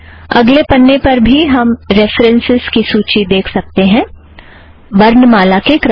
अगले पन्ने पर भी हम रेफ़रन्सस् की सूची देख सकते हैं वर्णमाला के क्रम से